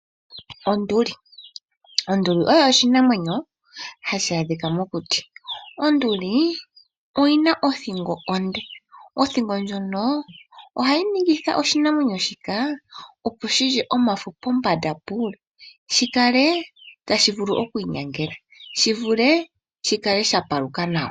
Onduli Onduli oyo oshinamwenyo hashi adhika mokuti. Onduli oyina othingo onde. Othingo ndjika ohayi ningitha oshinamwenyo shika shilye omafo pombanda puule, shi kale oku kala tashivulu oku inyangela, shi kale sha paluka nawa.